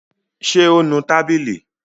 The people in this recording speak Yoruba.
Ṣé ó nu tábìlì?